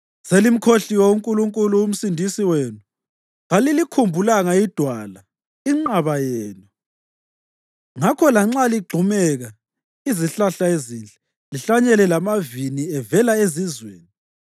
Selimkhohliwe uNkulunkulu uMsindisi wenu, kalilikhumbulanga iDwala, inqaba yenu. Ngakho lanxa ligxumeka izihlahla ezinhle, lihlanyele lamavini avela ezizweni,